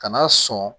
Kana sɔn